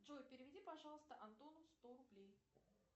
джой переведи пожалуйста антону сто рублей